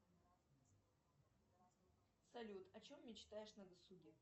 салют о чем мечтаешь на досуге